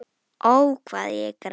Ó, hvað ég græt.